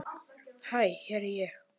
Hæ hér er ég.